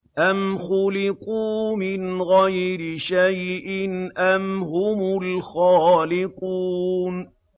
أَمْ خُلِقُوا مِنْ غَيْرِ شَيْءٍ أَمْ هُمُ الْخَالِقُونَ